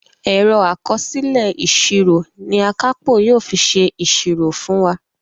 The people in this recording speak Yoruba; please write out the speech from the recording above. Ẹ̀rọ àkọsílẹ̀ ìsírò ní Akápò yóò fí ṣe ìsírò fún wá.